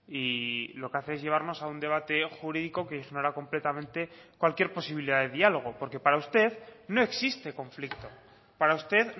y lo que hace es llevarnos a un debate jurídico que ignora completamente cualquier posibilidad de diálogo porque para usted no existe conflicto para usted